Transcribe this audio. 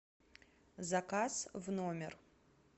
заказ в номер